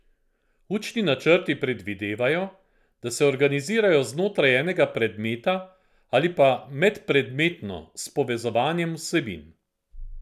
Učni načrti predvidevajo, da se organizirajo znotraj enega predmeta ali pa medpredmetno s povezovanjem vsebin.